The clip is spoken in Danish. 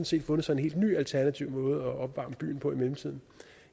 set fundet sig en helt ny alternativ måde at opvarme byen på i mellemtiden